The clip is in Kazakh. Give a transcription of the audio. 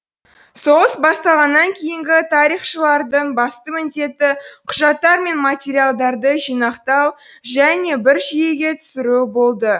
соғыс басталғаннан кейінгі тарихшылардың басты міндеті құжаттар мен материалдарды жинақтау және бір жүйеге түсіру болды